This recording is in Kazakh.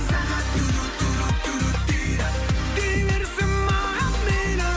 сағат дейді дей берсін маған мейлі